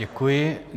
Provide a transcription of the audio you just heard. Děkuji.